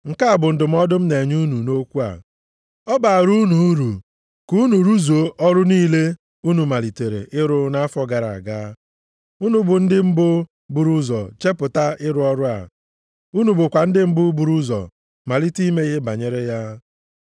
Nke a bụ ndụmọdụ m na-enye unu nʼokwu a. Ọ baara unu uru ka unu rụzuo ọrụ unu malitere ịrụ nʼafọ gara aga. Unu bụ ndị mbụ buru ụzọ chepụta ịrụ ọrụ a, unu bụkwa ndị mbụ buru ụzọ malite ime ihe banyere ya.